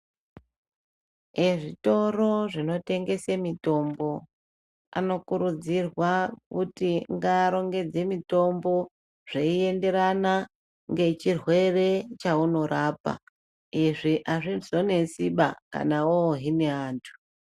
Ezvitoro zvinotengesa mitombo ano kuridzirwa kuti ngaaronge mitombo zveyienderana ngechirwere chaunorapa izvi hazvizonetsiba kana wohine antu.